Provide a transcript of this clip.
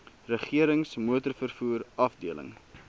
regerings motorvervoer afdeling